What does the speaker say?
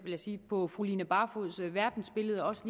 jeg sige på fru line barfods verdensbillede også